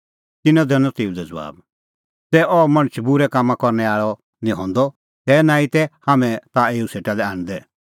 तिन्नैं दैनअ तेऊ लै ज़बाब ज़ै अह मणछ बूरै कामां करनै आल़ै निं हंदअ तै नांईं तै हाम्हैं एऊ ताह सेटा लै आणदै